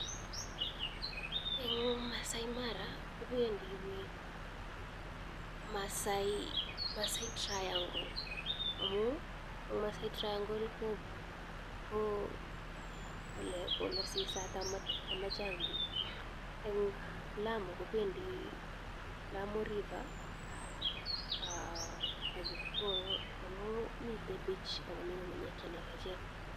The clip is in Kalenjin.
En Maasai Mara kopendi piik Maasai Triangle amun ko ole sisat ama chang' piik. Wendi Lamu piik en Lamu River amun mite beach ak ng'ung'unyek che lelachen.